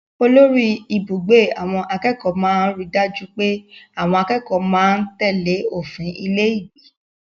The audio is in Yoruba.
Olórí-ibùgbé àwọn akẹ́kọ̀ọ́ máa ń ri dájú pé àwọn akẹ́kọ̀ọ́ máa ń tèlé òfin ilé-ìgbé.